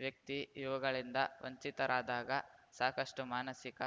ವ್ಯಕ್ತಿ ಇವುಗಳಿಂದ ವಂಚಿತರಾದಾಗ ಸಾಕಷ್ಟುಮಾನಸಿಕ